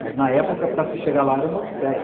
Mas, na época, para se chegar lá era uma odisseia.